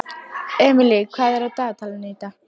Emely, hvað er á dagatalinu í dag?